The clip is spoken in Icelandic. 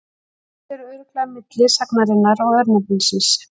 Tengsl eru örugglega milli sagnarinnar og örnefnisins.